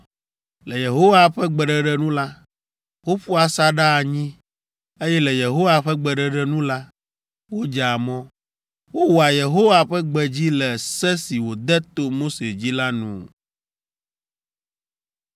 Le Yehowa ƒe gbeɖeɖe nu la, woƒua asaɖa anyi, eye le Yehowa ƒe gbeɖeɖe nu la, wodzea mɔ. Wowɔa Yehowa ƒe gbe dzi le se si wòde to Mose dzi la nu.